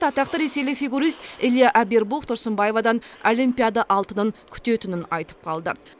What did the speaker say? атақты ресейлік фигурист илья абервух тұрсынбаевадан олимпиада алтынын күтетін айтып қалды